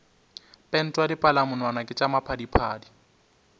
pentwa dipalamonwana ke tša maphadiphadi